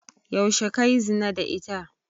Yaushe kayi zina da ita?